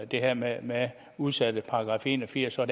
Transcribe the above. det her med udsatte fra § en og firs er